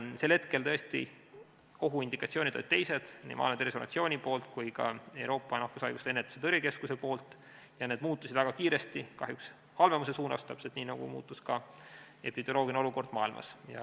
Sel hetkel tõesti indikatsioonid olid teised nii Maailma Terviseorganisatsiooni poolt kui ka Euroopa nakkushaiguste ennetamise ja tõrje keskuse poolt ning need muutusid väga kiiresti, kahjuks halvemuse suunas, täpselt nii nagu muutus ka epidemioloogiline olukord maailmas.